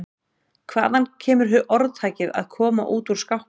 Hvaðan kemur orðtakið að koma út úr skápnum?